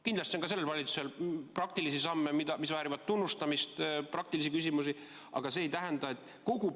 Kindlasti on ka sellel valitsusel praktilisi samme, mis väärivad tunnustamist, praktilisi küsimusi, aga see ei tähenda veel, [et nad käituksid vastutustundlikult.